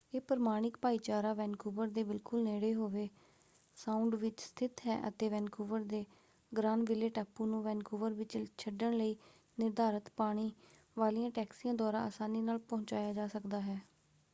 ਇਹ ਪ੍ਰਮਾਣਿਕ ਭਾਈਚਾਰਾ ਵੈਨਕੂਵਰ ਦੇ ਬਿਲਕੁਲ ਨੇੜੇ ਹੋਵੇ ਸਾਉਂਡ ਵਿੱਚ ਸਥਿਤ ਹੈ ਅਤੇ ਵੈਨਕੂਵਰ ਦੇ ਗ੍ਰਾਨਵਿਲੇ ਟਾਪੂ ਨੂੰ ਵੈਨਕੂਵਰ ਵਿੱਚ ਛੱਡਣ ਲਈ ਨਿਰਧਾਰਤ ਪਾਣੀ ਵਾਲੀਆਂ ਟੈਕਸੀਆਂ ਦੁਆਰਾ ਅਸਾਨੀ ਨਾਲ ਪਹੁੰਚਾਇਆ ਜਾ ਸਕਦਾ ਹੈ।